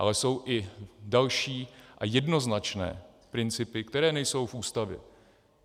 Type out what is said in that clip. Ale jsou i další a jednoznačné principy, které nejsou v Ústavě.